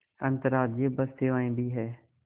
अंतर्राज्यीय बस सेवाएँ भी हैं